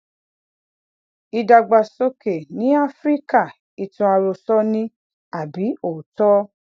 ìdàgbàsókè ní áfíríkà ìtàn àròsọ ni àbí òótó